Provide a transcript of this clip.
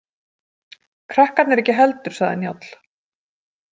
Krakkarnir ekki heldur, sagði Njáll.